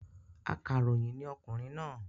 Akàròyìn ní okùnrin náà